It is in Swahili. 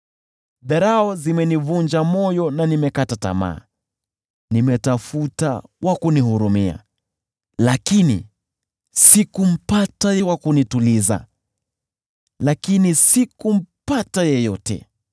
Dharau zimenivunja moyo na nimekata tamaa, nimetafuta wa kunihurumia, lakini sikumpata, wa kunituliza, lakini sikumpata.